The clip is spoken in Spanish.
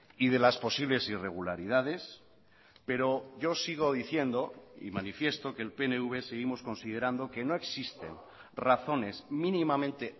y de las posibles irregularidades pero yo sigo diciendo y manifiesto que el pnv seguimos considerando que no existen razones mínimamente